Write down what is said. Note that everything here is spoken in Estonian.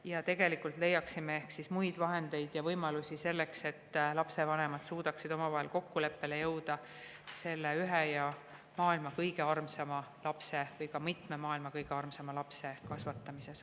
Ja tegelikult leiaksime ehk siis muid võimalusi selleks, et lapsevanemad suudaksid omavahel kokkuleppele jõuda selle maailma kõige armsama lapse või ka mitme maailma kõige armsama lapse kasvatamises.